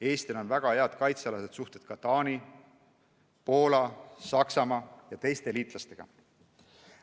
Eestil on väga head kaitsealased suhted ka Taani, Poola, Saksamaa ja teiste liitlastega.